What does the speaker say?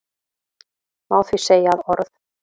Má því segja að orð